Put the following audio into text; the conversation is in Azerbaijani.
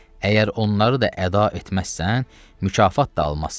Əgər onları da əda etməzsən, mükafat da almazsan.